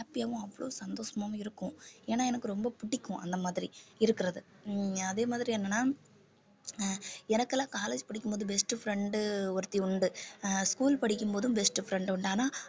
happy யாவும் அவ்வளவு சந்தோஷமாவும் இருக்கும் ஏன்னா எனக்கு ரொம்ப பிடிக்கும் அந்த மாதிரி இருக்கிறது உம் அதே மாதிரி என்னன்னா எனக்கெல்லாம் college படிக்கும்போது best friend ஒருத்தி உண்டு school படிக்கும்போதும் best friend உண்டு ஆனா